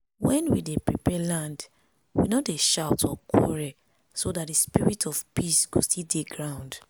when we dey prepare land we no dey shout or quarrel so that the spirit of peace go still dey ground.